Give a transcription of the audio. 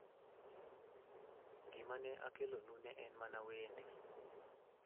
Gima ne akelonu ne en mana wende.